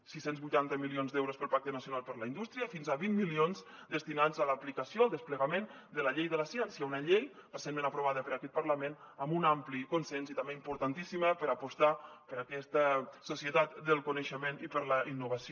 sis cents vuitanta milions d’euros per al pacte nacional per a la indústria i fins a vint milions destinats a l’aplicació al desplegament de la llei de la ciència una llei recentment aprovada per aquest parlament amb un ampli consens i també importantíssima per apostar per aquesta societat del coneixement i per la innovació